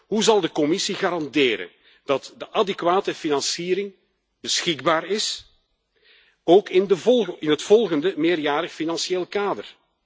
Hoe zal de Commissie garanderen dat de adequate financiering beschikbaar is, ook in het volgende meerjarig financieel kader?